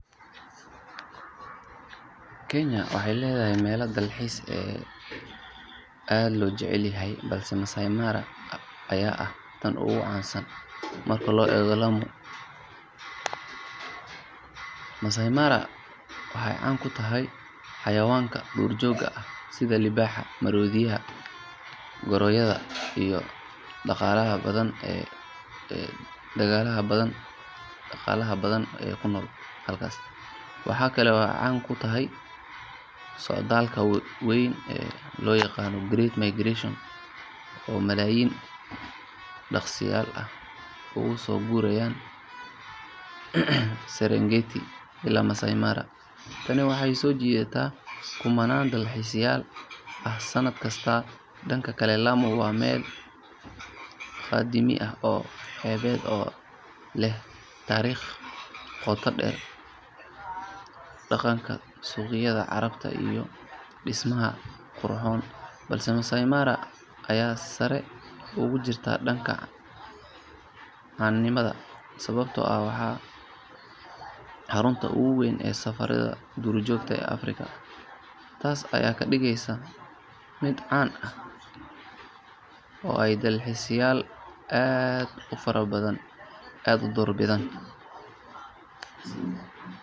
kenya waxey leedahay meelo dalxiis waxaana ugu caansan [cs[masaai maara marka loo eego lamu. masaai maara waxey caan ku tahay xawaanada duur joogta ah sida liibaxa , maroodiga, goronyada iyo xaayawano badan ee halkaas ku nool. waxaa kale oo ay caan ku tahay socdaalka weyn ee loo yaqaano great migration oo malaayin daaqsadayaal ah ugusoo guurayaan siringeet ilaa masaai maara . Tani waxey soo jiidataa kumanaan dalxiisadayaal ah sanadkasta . Dhanka kale lamu wa meel qadiimi ah oo meel xeebeed leh tariiq qoto dheer oo laga helo suuqyada carabta iyo dhismaha qurxoon balse masaai mara ayaa meel sare ugu jirta caanimada sbbto ah waa xarunta ugu weyn duurjoogta Africa , Taasa ayaana ka dhigeysa meel ay doorbidaan dalxiisadayaal aad u fara badan